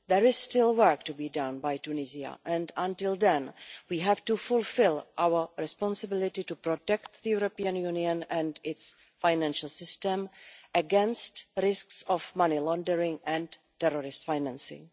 There is still work to be done by Tunisia, and until then we have to fulfil our responsibility to protect the European Union and its financial system against the risks of money laundering and terrorist financing.